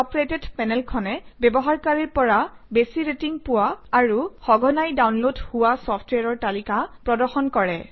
top rated পেনেলখনে ব্যৱহাৰকীৰৰ পৰা বেছি ৰেটিং পোৱা আৰু সঘনাই ডাউনলোড হোৱা চফট্ৱেৰৰ তালিকা প্ৰদৰ্শন কৰে